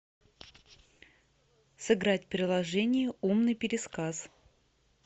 сыграть в приложение умный пересказ